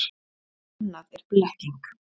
Annað er blekking.